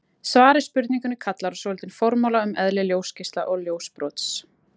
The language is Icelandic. Svar við spurningunni kallar á svolítinn formála um eðli ljósgeisla og ljósbrots.